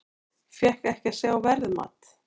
Fékk ekki að sjá verðmat